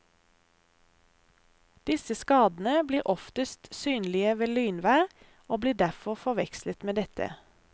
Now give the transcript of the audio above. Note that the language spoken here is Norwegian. Disse skadene blir oftest synlige ved lynvær og blir derfor forvekslet med dette.